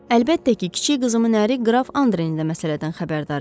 Əlbəttə ki, kiçik qızımın əri qraf Andren də məsələdən xəbərdar idi.